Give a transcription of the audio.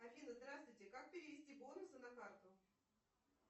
афина здравствуйте как перевести бонусы на карту